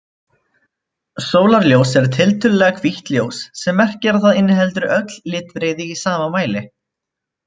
Sólarljós er tiltölulega hvítt ljós sem merkir að það inniheldur öll litbrigði í sama mæli.